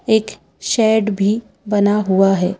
एक शेड भी बना हुआ है।